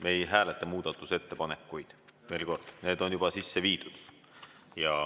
Me ei hääleta muudatusettepanekuid, veel kord: need on juba sisse viidud.